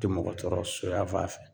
Tɛ mɔgɔ tɔɔrɔ so yafan fɛ